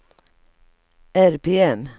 RPM